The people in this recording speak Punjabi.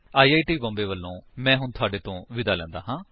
ਆਈ ਆਈ ਟੀ ਬੌਮਬੇ ਵਲੋਂ ਮੈਂ ਹੁਣ ਤੁਹਾਡੇ ਤੋਂ ਵਿਦਾ ਲੈਂਦਾ ਹਾਂ